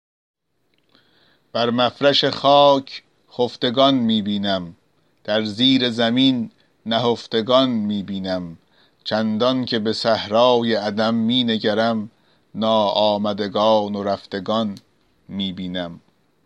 بر مفرش خاک خفتگان می بینم در زیر زمین نهفتگان می بینم چندان که به صحرای عدم می نگرم ناآمدگان و رفتگان می بینم